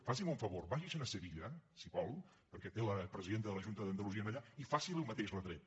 faci’m un favor vagi se’n a sevilla si vol perquè té la presidenta de la junta d’andalusia allà i faci li el mateix retret